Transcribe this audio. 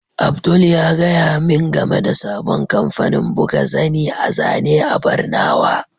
Abdul ya gaya min game da sabon kamfanin buga zani a zane a barnawa.